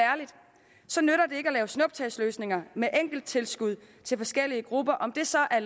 lave snuptagsløsninger med enkelttilskud til forskellige grupper om det så er